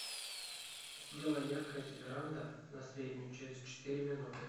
сделай яркость веранда на среднюю через четыре минуты